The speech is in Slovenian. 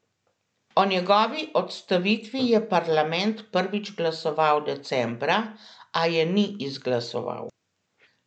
O njegovi odstavitvi je parlament prvič glasoval decembra, a je ni izglasoval.